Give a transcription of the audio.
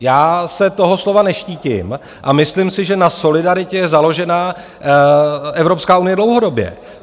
Já se toho slova neštítím a myslím si, že na solidaritě je založená Evropská unie dlouhodobě.